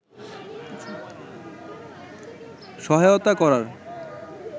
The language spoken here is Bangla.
সহায়তা করার